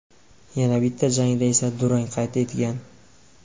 Yana bitta jangda esa durang qayd etgan.